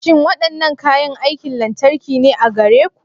Shin waɗannan kayan aikin lantarki ne a gare ku?